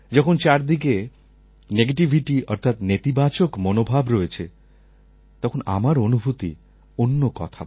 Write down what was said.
যখন চারদিকে নেগেটিভিটি অর্থাৎ নেতিবাচক মনোভাব রয়েছে তখন আমার অনুভূতি অন্য কথা বলে